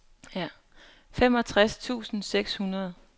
femogtres tusind seks hundrede